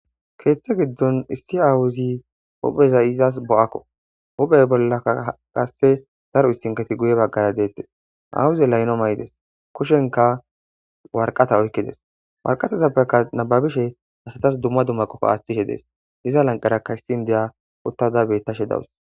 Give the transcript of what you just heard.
keeththe giddon issi awuzi uphezi izas bo7akko hubey bollaa qasse zaru istinketi guye baggara deettes awuze layno may7ides kushenka warqata oykkides warqatazappeka nababishe hasatas dumma dumma qofo aaththishe dees iza lanqarakka histin deya uttaza bettashe dawus